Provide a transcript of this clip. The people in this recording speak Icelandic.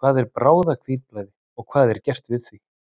Hvað er bráðahvítblæði og hvað er gert við því?